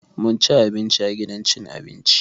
Mun ci abinci a gidan cin abinci.